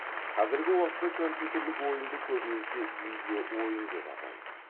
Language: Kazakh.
қазіргі уақытта компьютерлік ойынды көбінесе видео ойын деп атайды